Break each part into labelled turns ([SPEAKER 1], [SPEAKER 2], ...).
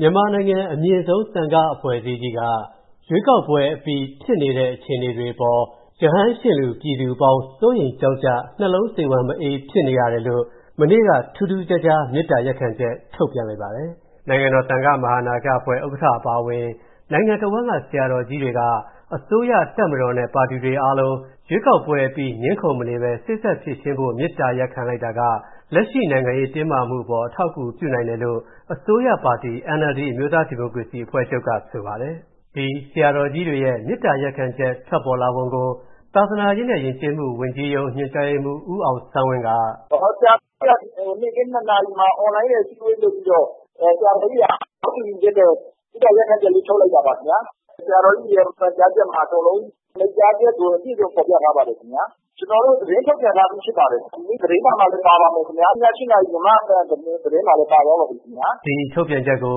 [SPEAKER 1] မြန်မာနိုင်ငံအမြင့်ဆုံးသံဃာ့အဖွဲ့အစည်းကြီးက၊ ရွေးကောက်ပွဲ့အပြီးဖြစ်နေတဲ့ အခြေအနေတွေအပေါ်၊ ရဟန်းရှင်လူပြည်သူအပေါင်း စိုးရမ်ကြောင့်ကြ၊ နှလုံးစိတ်ဝမ်းမအေးဖြစ်နေရတယ်လို့၊ မနေ့က ထူးထူးခြားခြား မေတ္တာရပ်ခံချက်ထုတ်လိုက်ပါတယ်။ နိုင်ငံတော် သံဃမဟာနာယကအဖွဲ့ ဥက္ကဌ အပါအဝင် နိုင်ငံတဝှမ်းက ဆရာတော်ကြီးတွေက၊ အစိုးရ၊ တပ်မတော်နဲ့ ပါတီတွေအားလုံး ရွေးကောက်ပွဲအပြီး ငြင်းခုံမနေဘဲ၊ စေ့စပ်ဖြေရှင်းဖို့ မေတ္တာရပ်ခံလိုက်တာက၊ လက်ရှိနိုင်ငံရေးတင်းမာမူအပေါ် အထောက်အကူပြုနိုင်တယ်လို့၊ အာဏာရ NLD အမျိုးသားဒီမိုကရေစီအဖွဲ့ချုပ် ပြောခွင့်ရကဆိုပါတယ်။ ကိုဝင်းမင်းက မေးထားပါတယ်။ ဒီဆရာတော်ကြီးတွေရဲ့ မေတ္တာရပ်ခံချက် ထွက်ပေါ်လာပုံကို သာသနာရေးနဲ့ယဉ်ကျေးမူဝန်ကြီးရုံး ညွှန်ကြားရေးမှူး ဦးအောင်ဆန်းဝင်းက -
[SPEAKER 2] “ဆရာတော်ကြီးတွေက နေ့ခင်း ၂ နာရီမှာ အွန်လိုင်းနဲ့ အစည်းအဝေးလုပ်ပြီးတော့ ဆရာတော်ကြီးတွေက သဘောတူပြီးတော့ မေတ္တာရပ်ခံချက်လေး ထုတ်လိုက်တာပါ။ ဆရာတော်ကြီးတွေရဲ့ မှာကြားချက်တွေကို အပြည့်အစုံဖော်ပြထားပါတယ်ခင်ဗျ။ ကျနော်တို့ သတင်းထုတ်ပြန်ထားပြီးဖြစ်ပါတယ်ခင်ဗျ။ ဒီနေ့သတင်းစာမှာလည်း ပါပါမယ်ခင်ဗျ။ ည ၈ နာရီ သတင်းမှာလည်း ပါသွားပါပြီခင်ဗျ။
[SPEAKER 1] ” ဒီထုတ်ပြန်ချက်ကို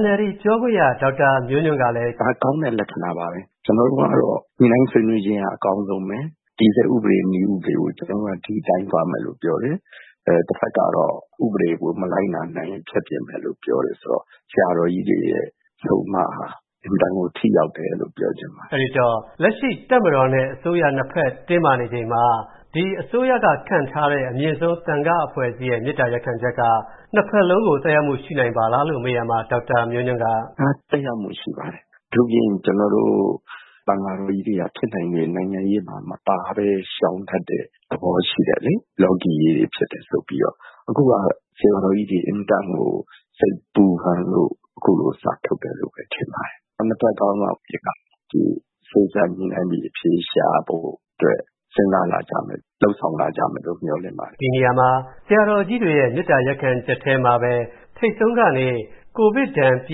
[SPEAKER 1] NLD ပြောခွင့်ရ ဒေါက်တာ မျိုးညွှန့်ကလည်း - “ဒါကောင်းတဲ့လက္ခဏာပါပဲ ကျနော်တို့ကတော့ ညှိနှို
[SPEAKER 2] င်းဆွေးနွေးခြင်းက အကောင်းဆုံးပဲ ။ တည်ဆဲဥပဒေ၊ နည်းဥပဒေတွေကို ဒီအတိုင်းသွားမယ်လို့ပြောတယ်။ တဖက်ကတော့ ဥပဒေကို မလိုက်လာနိုင်ရင် ဖျက်ပစ်မယ်လို့ပြောတယ်ဆိုတော့ ဆရာတော်ကြီးတွေရဲ့ အဆုံးအမဟာ အင်မတန်ကို ထိရောက်တယ်လို့ ပြောချင်ပ
[SPEAKER 1] ါတယ်။” အဲဒီတော့ လက်ရှိတပ်မတော်နဲ့ အစိုးရ ၂ ဖက် တင်းမာနေချိန်မှာ ဒီအစိုးရက ခန့်ထားတဲ့ အမြင့်ဆုံး သံဃာ့အဖွဲ့အစည်းရဲ့ မေတ္တာရပ်ခံချက်က ၂ ဖက်လုံးကို သက်ရောက်မှု ရှိနိုင်ပါသလားလို့ မေးရာမှာ ဒေါက်တာ မျိုးညွှန့်က - “ဒါက သက်ရောက်မှုရှိပါတယ်
[SPEAKER 2] ။ အထူးသဖြင့် ကျနော်တို့ သံဃာတော်ကြီးတွေက ဖြစ်နိုင်ရင် နိုင်ငံရေးမှာ မပါပဲ ရှောင်တတ်တဲ့ သဘောရှိတယ်လေ။ လောကီရေးတွေဖြစ်တယ်ဆိုပြီးတော့ အခုက ဆရာတော်ကြီးတွေ အင်မတန်ကို စိတ်ပူလို့ အခုလို စာထုတ်တယ်လို့ ထင်ပါတယ်။ ၂ ဖက်ခေါင်းဆောင်တွေ စေ့စပ်ညှိနှိုင်းပြီး အဖြေရှာဖို့အတွက် စဉ်းစားလာကြမယ်လို့ လုပ်ဆောင်လာကြမယ်လို့ မျှော်လင့်ပါတယ
[SPEAKER 1] ်။” ဒီနေရာမှာ ဆရာတော်ကြီးတွေရဲ့ မေတ္တာရပ်ခံချက်ထဲမှာပဲ ထိပ်ဆုံးကနေ ကိုဗစ်ဒဏ် ပြ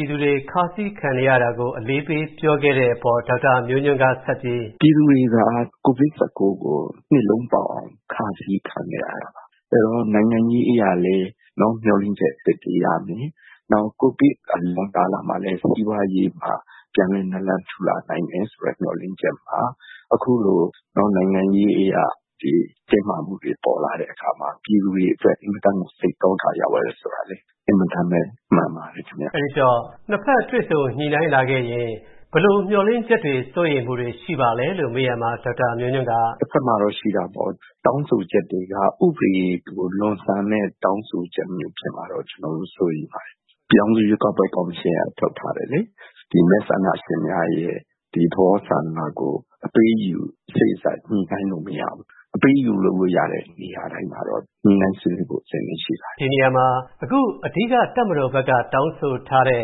[SPEAKER 1] ည်သူတွေ ခါးစည်းခံနေရတာကို အလေးပေး ပြောခဲ့တဲ့အပေါ် ဒေါက်တာ မျိုးညွှန့်ကဆက်ပြီး - “ပြ
[SPEAKER 2] ည်သူတွေက ကိုဗစ်-၁၉ ကို နှစ်လုံးပေါက်အောင် ခါးစည်းခံခဲ့ရတာပါ။ အဲဒီတော့ နိုင်ငံရေးအရလည်း မျှော်လင့်ချက်အသစ်တွေရမယ် ကိုဗစ်အလွန်ကာလမှာလည်း စီးပွားရေးမှာ ပြန်လည်နလံထူလာနိုင်မယ်ဆိုတာလည်း မျှော်လင့်ချက်မှာ အခုလို နိုင်ငံရေးအရ တင်းမာမှုတွေပေါ်လာတဲ့အခါမှာ ပြည်သူတွေအတွက် အင်မတန်ကို စိတ်သောက ရောက်ရတယ်ဆိုတာလည်း အင်မတန်ပဲ မှန်ပါတယ
[SPEAKER 1] ်ခင်ဗျ ။ ”အဲဒီတော့ ၂ ဖက်တွေ့ဆုံ ညှိနှိုင်းလာခဲ့ရင် ဘယ်လိုမျှော်လင့်ချက်တွေ စိုးရိမ်မှုတွေရှိပါသလဲလို့ မေးရာမှာ ဒေါက်တာ မျိုးညွှန့်က - “
[SPEAKER 2] တဖက်မှာတော့ ရှိတာပေါ့ တောင်းဆိုချက်တွေ ဥပဒေထက် လွန်ဆန်တဲ့ တောင်းဆိုချက်မျိုးဖြစ်မှာတော့ ကျနော်စိုးရိမ်တယ် ။ ပြည်ထောင်စုရွေးကောက်ပွဲကော်မရှင်က ထုတ်ထားတယ်လေ။ ဒီမဲဆန္ဒရှင်များရဲ့ သဘောဆန္ဒကို အပေးအယူ စေ့စပ်ညှိနှိုင်းလို့မရဘူး။ အပေးအယူလုပ်လို့ရတဲ့ နေရာတိုင်းမှာတော့ ညှိနှိုင်းဆွေးနွေးဖို့ အဆင်သင့်ရှိပါ
[SPEAKER 1] တယ်။” ဒီနေရာမှာ အခု အဓိက တပ်မတော်ဘက်က တောင်းဆိုထားတဲ့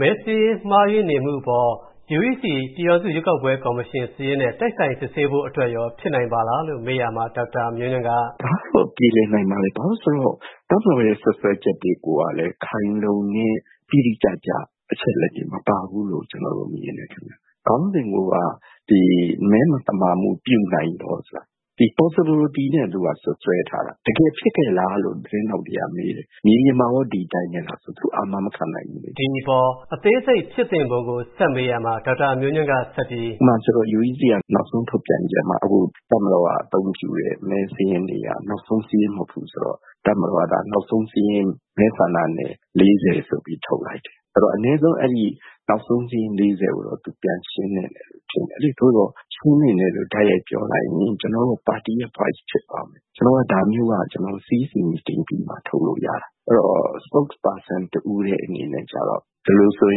[SPEAKER 1] မဲစာရင်းမှားယွင်းနေမှုအပေါ် UEC ပြည်ထောင်စုရွေးကောက်ပွဲ ကော်မရှင်စာရင်းနဲ့ တိုက်ဆိုင်စစ်ဆေးဖို့အတွက်ရော ဖြစ်နိုင်ပါသလားလို့မေးရာမှာ ဒေါက်တာ မျိုးညွှန့်က - “ဒ
[SPEAKER 2] ါကတော့ ပြေလည်နိုင်ပါတယ်။ ဘာလို့ဆိုတော့ တပ်မတော်ရဲ့ စွပ်စွဲချက်တွေကိုကလည်း ခိုင်လုံတဲ့ တိတိကျကျ အချက်အလက်တွေမပါဘူးလို့ ကျနော်တို့မြင်တယ်ခင်ဗျ။ ခေါင်းစဉ်ကိုက မဲမသမာမူပြနိုင်သော ဆိုတာက ဒီ Possibility နဲ့ စွပ်စွဲထားတာ ။ တကယ်ဖြစ်ခဲ့လားလို့ သတင်းထောက်တွေက မေးတယ်။ မြေပြင်မှာရော ဒီအတိုင်းပဲလားဆိုရင် သူတို့ အာမမခံနိုင်ဘူးလေ။
[SPEAKER 1] ” ဒီအပေါ် အသေးစိတ်ဖြစ်သင့်ပုံကို ဆက်မေးရာမှာ ဒေါက်တာမျိုးညွှန့်ကဆက်ပြီး -
[SPEAKER 2] “ဥပမာဆိုရင်တော့ UEC က နောက်ဆုံးထုတ်ပြန်ချက်မှာ တပ်မတော်က အသုံးပြုတဲ့ မဲစာရင်းတွေက နောက်ဆုံးစာရင်းမဟုတ်ဘူးဆိုတော့ ၊ တပ်မတော်က နောက်ဆုံးစာရင်း မဲဆန္ဒနယ် ၄၀ ဆိုပြီးတော့နောက်ဆုံးစာရင်းထုတ်လိုက်တယ်။ အဲဒီတော့ အနည်းဆုံး အဲဒီနောက်ဆုံးစာရင်း မဲဆန္ဒနယ် ၄၀ ကိုတော့ သူ ပြန်ရှင်းသင့်တယ်လို့ ထင်တယ်လေ။ သို့သော် ရှင်းသင့်တယ်လို့ တိုက်ရိုက်ပြောလိုက်ရင် ကျနော်တို့က ပါတီရဲ့ Voice ဖြစ်သွားမယ်။ ကျနော်တို့က ဒါမျိုးက CEC meeting ပြီးမှ ထုတ်လို့တာ ။ အဲဒီတော့ Spokesperson တဦးတည်းအနေနဲ့ ကျတော့ ဒီလိုဆိုရ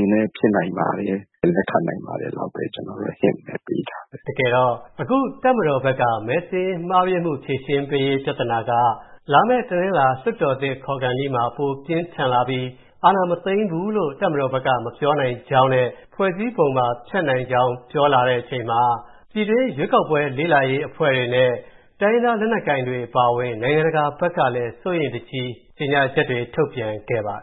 [SPEAKER 2] င်လည်း ဖြစ်နိုင်ပါတယ်။ လက်ခံနိုင်ပါတယ်လောက်ပဲ Hint ပဲပေးထား
[SPEAKER 1] တယ်။” တကယ်တော့ အခုတပ်မတော်ဘက်က မဲစာရင်းမှားယွင်းမှု ဖြေရှင်းရေးပြဿနာက လာမယ့် တနင်္လာ လွှတ်တော်သစ်ခေါ်ခါနီးမှာ ပိုပြင်းထန်လာပြီး အာဏာမသိမ်းဘူးလို့ တပ်မတော်ဘက်က မပြောနိုင်ကြောင်းနဲ့ ဖွဲ့စည်းပုံပါ ဖျက်နိုင်ကြောင်း ပြောလာတဲ့အချိန်မှာ၊ ပြည်တွင်းရွေးကောက်ပွဲ လေ့လာရေးအဖွဲ့တွေနဲ့ တိုင်းရင်းသားလက်နက်ကိုင်တွေအပါအဝင် နိုင်ငံတကာဘက်ကလည်း စိုးရိမ်တကြီး ကြေညာချက်တွေထုတ်ပြန်ခဲ့ပါတယ်